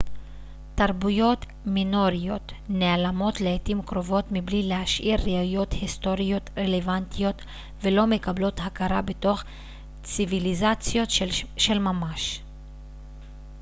תרבויות מינוריות נעלמות לעתים קרובות מבלי להשאיר ראיות היסטוריות רלוונטיות ולא מקבלות הכרה בתור ציוויליזציות של ממש